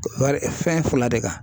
Fɛn fila de kan